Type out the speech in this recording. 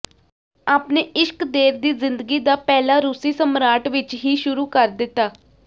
ਆਪਣੇ ਇਸ਼ਕ ਦੇਰ ਦੀ ਜ਼ਿੰਦਗੀ ਦਾ ਪਹਿਲਾ ਰੂਸੀ ਸਮਰਾਟ ਵਿਚ ਹੀ ਸ਼ੁਰੂ ਕਰ ਦਿੱਤਾ